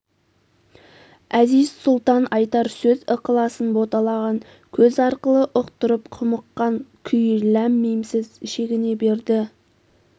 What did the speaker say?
әзиз-сұлтан айтар сөз ықыласын боталаған көз арқылы ұқтырып құмыққан күй ләм-мимсіз шегіне берді